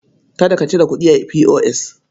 Kada ka cire kuɗi a P.O.S.